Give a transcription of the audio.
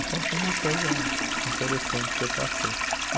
Então foi uma coisa interessante que eu passei.